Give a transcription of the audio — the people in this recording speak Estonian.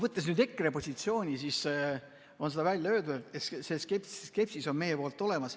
Võttes nüüd ette EKRE positsiooni, siis seda on välja öeldud, et see skepsis on meie poolt olemas.